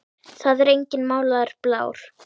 Það er enginn málaður blár.